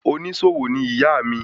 Onísòwò ni ìyá mi